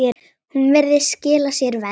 Hún virðist skila sér verr.